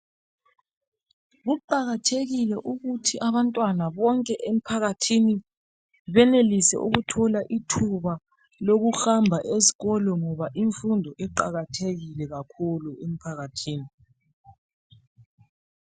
Kuqakathekile ukuthi abantwana bonke emphakathini benelise ukuthola ithuba lokuhamba esikolo ngoba imfundo iqakathekile kakhulu emphakathini.